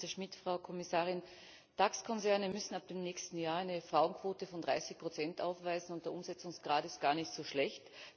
Herr Minister Schmit! Frau Kommissarin! DAX Konzerne müssen ab dem nächsten Jahr eine Frauenquote von 30 aufweisen und der Umsetzungsgrad ist gar nicht so schlecht.